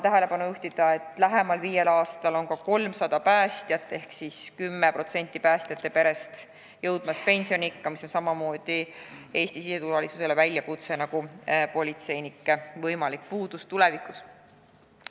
Toonitan, et lähemal viiel aastal hakkab ka 300 päästjat ehk siis 10% päästjate perest jõudma pensioniikka, mis on samamoodi Eesti siseturvalisusele suur väljakutse nagu politseinike võimalik puudus tulevikus.